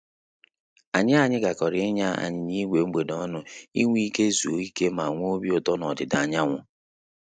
Anyị Anyị gakọrọ ịnya anyịnya ígwè mgbede ọnụ inwe ike izu ike ma nwe obi ụtọ na ọdịda anyanwụ